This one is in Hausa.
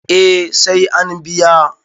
eh sai an biya